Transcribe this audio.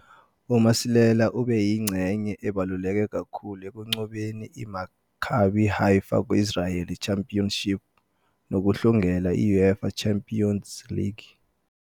UMasilela ubeyingxenye ebaluleke kakhulu ekunqobeni iMaccabi Haifa ku-Israeli Championship, nokuhlungela i- UEFA Champions League.